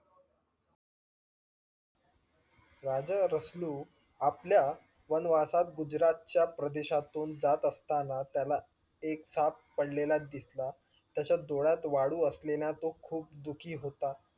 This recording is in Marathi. राजा रसलू आपल्या वनवासात गुजरात च्या प्रदेशातून जात असताना त्याला एक साप पडलेला दिसला त्याच्या डोळ्यात वाळू असलेलं तो खूप दुखी होता.